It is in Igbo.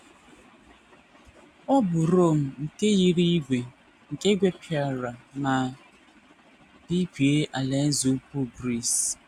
Ọ bụ Rom nke yiri ígwè, nke gwepịara ma bibie Alaeze Ukwu Gris.